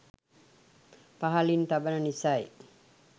පහලින් තබන නිසයි